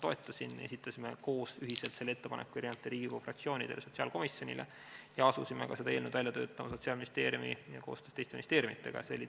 Toetasin, esitasime ühiselt selle ettepaneku erinevate Riigikogu fraktsioonidega sotsiaalkomisjonile ja asusime seda eelnõu Sotsiaalministeeriumis koostöös teiste ministeeriumidega välja töötama.